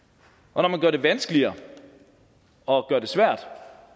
og når man gør det vanskeligere og gør det svært